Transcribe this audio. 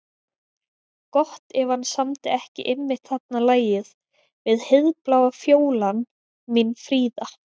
Gott ef hann samdi ekki einmitt þarna lagið við Heiðbláa fjólan mín fríða.